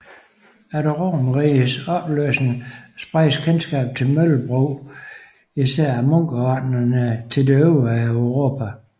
Efter Romerrigets opløsning spredtes kendskabet til møllebrug især af munkeordenerne til det øvrige Europa